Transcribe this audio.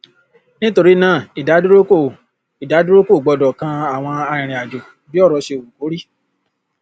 nítorí náà ìdádúró kò ìdádúró kò gbọdọ kan àwọn arìnrìnàjò bí ọrọ ṣe wù kó rí